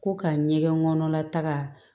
Ko ka ɲɛgɛn kɔnɔla taga